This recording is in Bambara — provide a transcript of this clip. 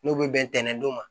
N'u bɛ bɛntɛn dɔw ma